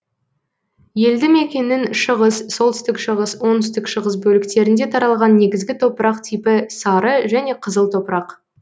елді мекеннің шығыс солтүстік шығыс оңтүстік шығыс бөліктерінде таралған негізгі топырақ типі сары және қызыл топырақ